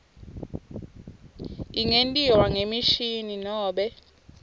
ingentiwa ngemishini nobe